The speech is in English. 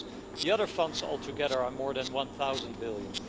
The other funds altogether are more than 1000 billion.